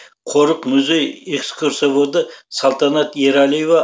қорық музей экскурсоводы салтанат ералиева